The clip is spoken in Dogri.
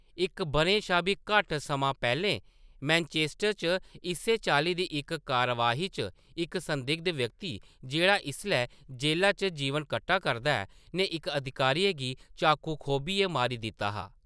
इक बʼरें शा बी घट्ट समां पैह्‌‌‌लें मैनचेस्टर च इस्सै चाल्ली दी इक कार्यवाही च इक संदिग्ध व्यक्ति, जेह्‌‌ड़ा इसलै जेह्‌ला च जीवन कट्टा करदा ऐ, ने इक अधिकारी गी चाकू घोंपियै मारी दित्ता हा।